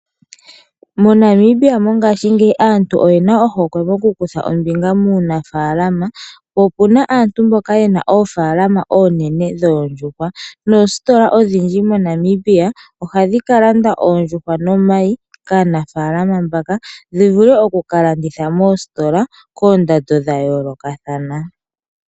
MoNamibia mongashingeyi aantu oyena ohokwe yoku kutha ombinga muunafaalama, opuna aantu mboka yena oofaalama oonene dhoondjuhwa moositola odhindji moNamibia ohandhi kalanda oondjuhwa nomayi kaanafaalama mbaka ndhi vule okulandithwa koondando dha yooloka thana.